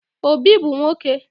Obi bu nwoke